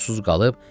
susuz qalıb.